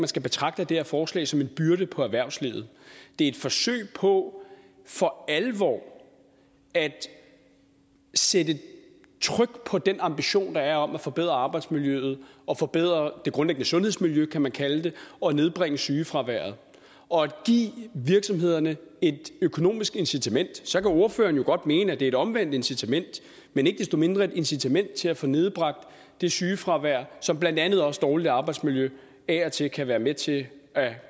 skal betragte det her forslag som en byrde på erhvervslivet det er et forsøg på for alvor at sætte tryk på den ambition der er om at forbedre arbejdsmiljøet og forbedre det grundlæggende sundhedsmiljø kan man kalde det og at nedbringe sygefraværet og at give virksomhederne et økonomisk incitament så kan ordføreren jo godt mene at det er et omvendt incitament men ikke desto mindre et incitament til at få nedbragt det sygefravær som blandt andet også dårligt arbejdsmiljø af og til kan være med til at